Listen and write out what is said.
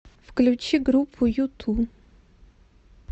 включи группу юту